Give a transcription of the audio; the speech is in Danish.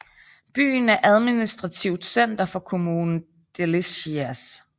Byen er administrativt center for kommunen Delicias